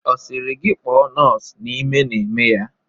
Ọ sịrị gị kpọọ nọọsụ n'ime na-eme ya.